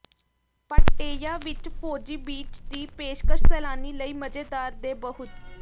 Pattaya ਵਿੱਚ ਫੌਜੀ beach ਦੀ ਪੇਸ਼ਕਸ਼ ਸੈਲਾਨੀ ਲਈ ਮਜ਼ੇਦਾਰ ਦੇ ਬਹੁਤ